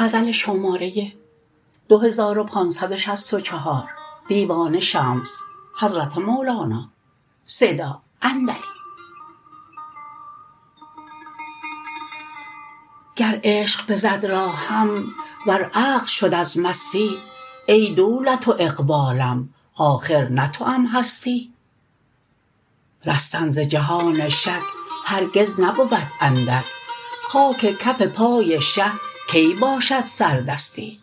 گر عشق بزد راهم ور عقل شد از مستی ای دولت و اقبالم آخر نه توام هستی رستن ز جهان شک هرگز نبود اندک خاک کف پای شه کی باشد سردستی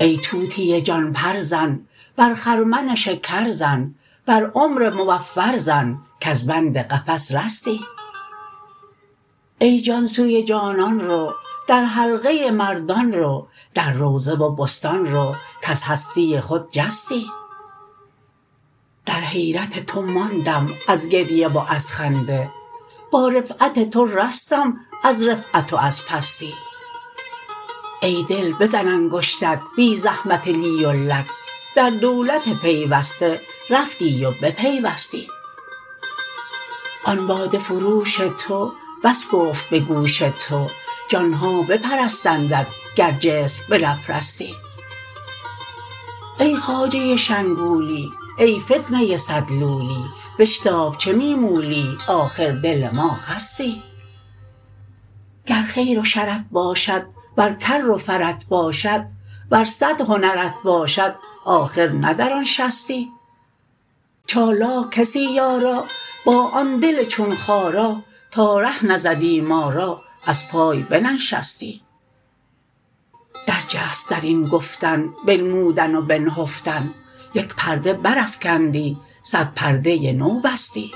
ای طوطی جان پر زن بر خرمن شکر زن بر عمر موفر زن کز بند قفس رستی ای جان سوی جانان رو در حلقه مردان رو در روضه و بستان رو کز هستی خود جستی در حیرت تو ماندم از گریه و از خنده با رفعت تو رستم از رفعت و از پستی ای دل بزن انگشتک بی زحمت لی و لک در دولت پیوسته رفتی و بپیوستی آن باده فروش تو بس گفت به گوش تو جان ها بپرستندت گر جسم بنپرستی ای خواجه شنگولی ای فتنه صد لولی بشتاب چه می مولی آخر دل ما خستی گر خیر و شرت باشد ور کر و فرت باشد ور صد هنرت باشد آخر نه در آن شستی چالاک کسی یارا با آن دل چون خارا تا ره نزدی ما را از پای بننشستی درجست در این گفتن بنمودن و بنهفتن یک پرده برافکندی صد پرده نو بستی